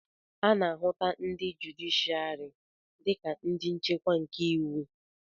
a na-ahụta ndi jụdịshịarị dị ka ndị nchekwa nke iwu